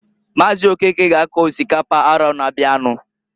Maazị Okeke ga ako osikapa arọ na-abịanụ.